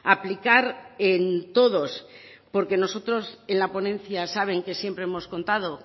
a aplicar en todos porque nosotros en la ponencia saben que siempre hemos contado